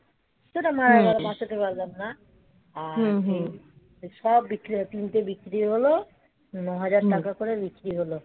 সেটা মারা গেল. আমার বাঁচাতে পারলাম না. তো সব বিক্রি হয় তিনটে বিক্রি হল. ন হাজার টাকা করে বিক্রি হল.